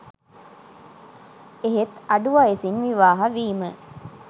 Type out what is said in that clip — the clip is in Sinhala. එහෙත් අඩු වයසින් විවාහ වීම